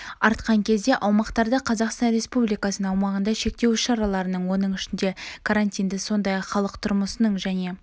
артқан кезде аумақтарда қазақстан республикасының аумағында шектеу іс-шараларын оның ішінде карантинді сондай-ақ халық тұрмысының және